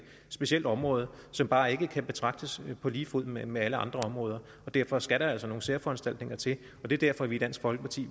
specielt område som bare ikke kan betragtes på lige fod med med alle andre områder og derfor skal der altså nogle særforanstaltninger til det er derfor vi i dansk folkeparti